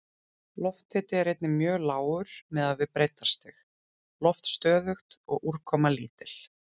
Lofthiti er einnig mjög lágur miðað við breiddarstig, loft stöðugt og úrkoma lítil.